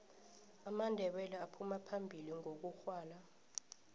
amandebele aphuma phambili ngokugwala